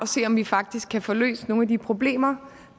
se om vi faktisk kan få løst nogle af de problemer